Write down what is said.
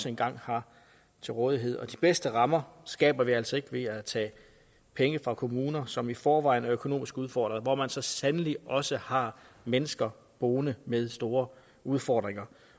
engang har til rådighed og de bedste rammer skaber vi altså ikke ved at tage penge fra kommuner som i forvejen er økonomisk udfordret og hvor man så sandelig også har mennesker boende med store udfordringer